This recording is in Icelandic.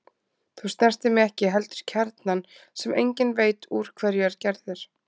Þú snertir mig ekki heldur kjarnann sem enginn veit úr hverju er gerður.